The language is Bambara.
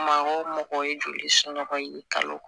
Maa o mɔgɔ ye joli somɔgɔ ye kalo